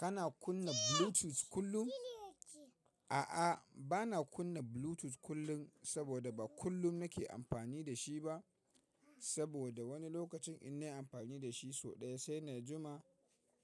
Kana kunna Bluetooth kullum? A'a bana kunna Bluetooth kullum saboda ba kullum nake amfani da shi ba saboda wani lokacin in na yi amfani da shi sau ɗaya sai na jima